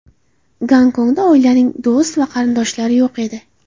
Gonkongda oilaning do‘st va qarindoshlari yo‘q edi.